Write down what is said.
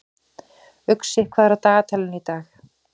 Uxi, hvað er á dagatalinu í dag?